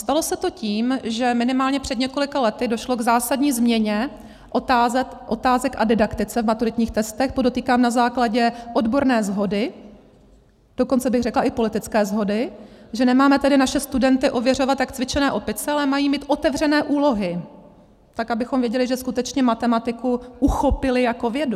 Stalo se to tím, že minimálně před několika lety došlo k zásadní změně otázek a didaktice v maturitních testech, podotýkám, na základě odborné shody, dokonce bych řekla i politické shody, že nemáme tedy naše studenty ověřovat jak cvičené opice, ale mají mít otevřené úlohy, tak abychom věděli, že skutečně matematiku uchopili jako vědu.